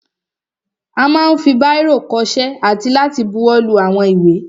A ma ń fi báìrò kọṣẹ́ àti láti buwọ́lu àwọn ìwé.